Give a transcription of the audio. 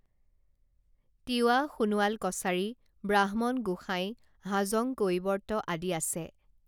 তিৱা সোণোৱাল কছাৰী ব্ৰাক্ষ্মণ গোসাঁই হাজং কৈৱৰ্ত আদি আছে